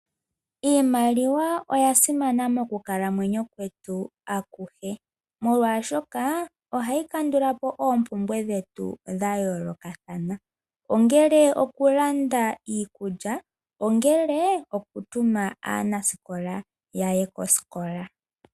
Iimaliwa oya simana mokukalamwenyo kwetu akuhe, molwaashoka oha yi kandulapo oombumbwe dhetu dha yoolokathana, ongele oku landa iikulya, ongele oku tuma aanasikola yaye kosikola.